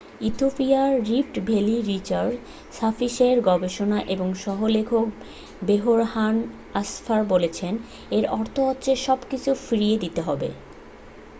ইথিওপিয়ার rift valley research সার্ভিসের গবেষক এবং সহ-লেখক বেরহান আসফা বলেছেন এর অর্থ হলো সবকিছু ফিরিয়ে দিতে হবে